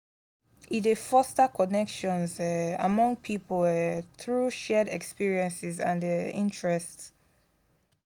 e dey foster connections um among people um through shared experiences and um interests.